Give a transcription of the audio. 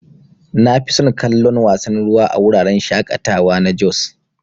Nafison kallon wasan ruwan a wuraren shaƙatawa na jos.